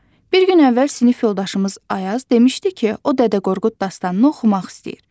Bir gün əvvəl sinif yoldaşımız Ayaz demişdi ki, o Dədə Qorqud dastanını oxumaq istəyir.